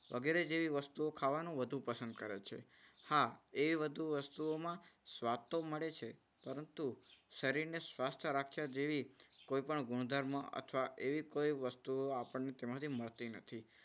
વગેરે જેવી વસ્તુઓ ખાવાનું વધુ પસંદ કરે છે. હા એ વધુ વસ્તુઓમાં સ્વાદ તો મળે છે પરંતુ શરીરને સ્વસ્થ રાખવા જેવી કોઈપણ ગુણધર્મ અથવા એવી કોઈ વસ્તુ આપણને તેમાંથી મળતી નથી.